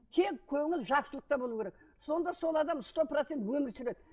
кең көңіл жақсылықта болу керек сонда сол адам сто процент өмір сүреді